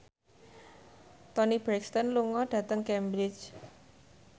Toni Brexton lunga dhateng Cambridge